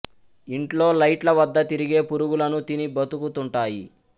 ఇంట్లో లైట్ల వద్ద తిరిగే పురుగులను తిని బతుకు తుంటాయి